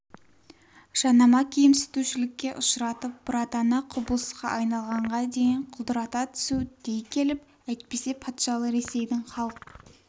жанама кемсітушілікке ұшыратып бұратана құбылысқа айналғанға дейін құлдырата түсу дей келіп әйтпесе патшалы ресейдің халық